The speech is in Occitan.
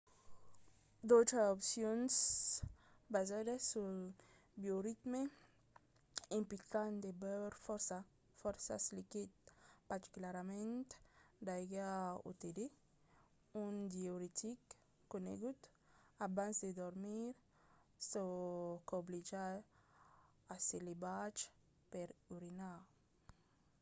d'autras opcions basadas sul bioritme implican de beure fòrça liquids particularament d'aiga o de tè un diüretic conegut abans de dormir çò qu'obliga a se levar per urinar